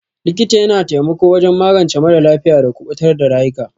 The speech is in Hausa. Likita ya na taimako wajen magance mara lafiya da kubutar da rayuka.